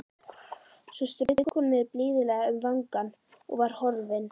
Svo strauk hún mér blíðlega um vangann og var horfin.